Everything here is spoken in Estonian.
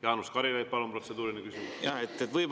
Jaanus Karilaid, palun, protseduuriline küsimus!